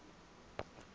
lejwe